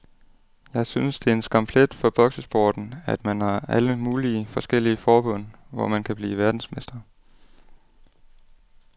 Jeg synes det er en skamplet for boksesporten, at man har alle mulige forskellige forbund, hvor man kan blive verdensmester.